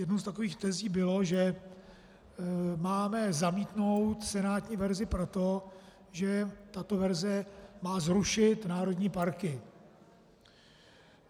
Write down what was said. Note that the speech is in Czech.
Jednou z takových tezí bylo, že máme zamítnout senátní verzi proto, že tato verze má zrušit národní parky.